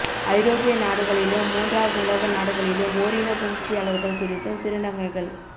ஐரோப்பிய நாடுகளிலும் மூன்றாம் உலக நாடுகளிலும் ஓரினப் புணர்ச்சியாளர்கள் குறித்தும் திருநங்கைகள்